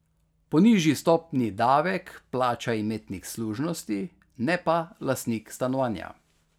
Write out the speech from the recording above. Po nižji stopnji davek plača imetnik služnosti, ne pa lastnik stanovanja.